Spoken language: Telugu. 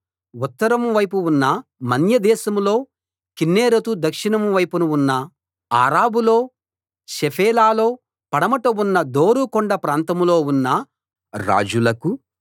ఉత్తరం వైపున ఉన్న మన్యదేశంలో కిన్నెరెతు దక్షిణం వైపున ఉన్న అరాబాలో షెఫేలాలో పడమట ఉన్న దోరు కొండ ప్రాంతంలో ఉన్న రాజులకూ